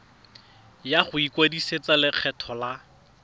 ya go ikwadisetsa lekgetho la